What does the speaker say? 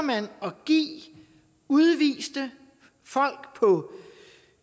give udviste folk på